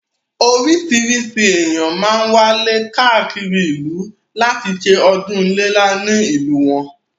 Orísìírísìí ènìyàn máá ń wálé káàkiri ìlú láti ṣe ọdún iléyá nílùú wọn